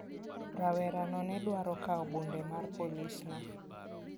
Rawerano ne dwaro kawo bunde mar polisno.